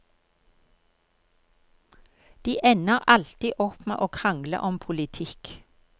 De ender alltid opp med å krangle om politikk.